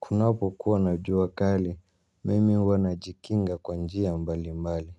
Kunapo kuwa na jua kali mimi huwa najikinga kwa njia mbali mbali.